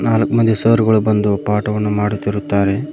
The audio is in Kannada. ನಾಲ್ಕು ಮಂದಿ ಸರ್ ಗಳು ಬಂದು ಪಾಠವನ್ನು ಮಾಡುತ್ತಿರುತ್ತಾರೆ.